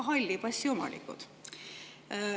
– ka halli passi omanikud.